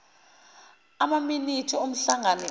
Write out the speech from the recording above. amaminithi omhlangano odlule